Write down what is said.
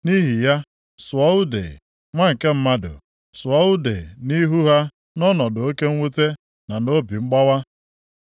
“Nʼihi ya, sụọ ude, nwa nke mmadụ, sụọ ude nʼihu ha nʼọnọdụ oke mwute na obi mgbawa.